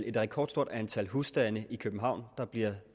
et rekordstort antal husstande i københavn der bliver